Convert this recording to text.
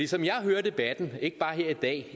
som jeg hører debatten ikke bare her i dag